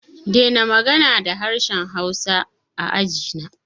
Dena magana da harshen hausa a ajina!